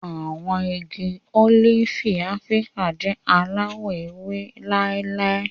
Àwọn igi ólífì Áfíríkà jẹ alawọ ewe láíláí.